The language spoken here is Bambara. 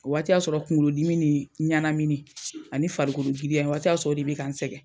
O waati y'a sɔrɔ kuŋolodimi nii ɲanamini ani farikolo giriya, o waati y'a sɔrɔ o de be ka n sɛgɛ.